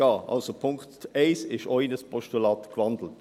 Also, auch Punkt 1 ist in ein Postulat gewandelt.